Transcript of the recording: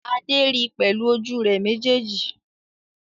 Adé ri pẹ̀lú ojú rẹ̀ méjèèjì